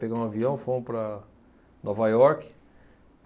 Pegamos um avião e fomos para Nova York.